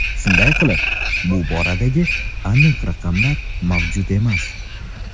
Shunday qilib, bu boradagi aniq raqamlar mavjud emas.